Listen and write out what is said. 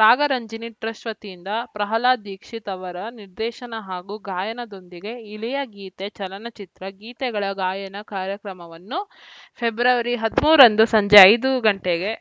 Ragaranjani trust ವತಿಯಿಂದ ಪ್ರಹ್ಲಾದ್‌ ದೀಕ್ಷಿತ್‌ ಅವರ ನಿರ್ದೇಶನ ಹಾಗೂ ಗಾಯನದೊಂದಿಗೆ ಇಳೆಯ ಗೀತೆ ಚಲನಚಿತ್ರ ಗೀತೆಗಳ ಗಾಯನ ಕಾರ್ಯಕ್ರಮವನ್ನು ಫೆಬ್ರವರಿ ಹದಿಮೂರರಂದು ಸಂಜೆ ಐದು ಗಂಟೆಗೆ